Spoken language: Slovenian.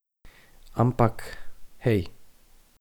Ampak, hej!